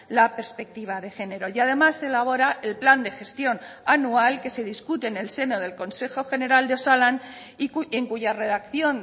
la perspectiva de género y además se elabora el plan de gestión anual que se discute en el seno del consejo general de osalan y en cuya redacción